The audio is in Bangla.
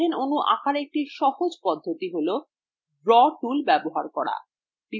methane অণু আঁকার একটি সহজ পদ্ধতি tool draw tool ব্যবহার করা